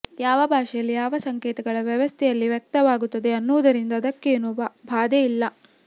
ಯಾವ ಭಾಷೆಯಲ್ಲಿ ಯಾವ ಸಂಕೇತಗಳ ವ್ಯವಸ್ಥೆಯಲ್ಲಿ ವ್ಯಕ್ತವಾಗುತ್ತದೆ ಅನ್ನುವುದರಿಂದ ಅದಕ್ಕೇನೂ ಬಾಧೆ ಇಲ್ಲ